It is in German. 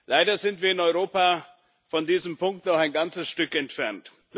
Leider sind wir in Europa von diesem Punkt noch ein ganzes Stück entfernt.